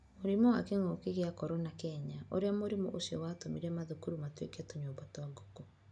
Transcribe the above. Mũrimũ wa Kĩngũki kĩa Korona Kenya: Ũrĩa mũrimũ ũcio watũmire mathukuru matuĩke tũnyũmba twa ngũkũ